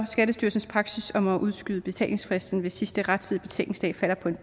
skattestyrelsens praksis om at udskyde betalingsfristen hvis sidste rettidige betalingsdag falder på en